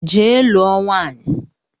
Jee lụọ nwaanyị!